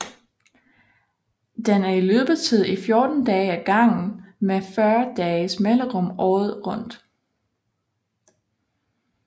Den er i løbetid i 14 dage ad gangen med 40 dages mellemrum året rundt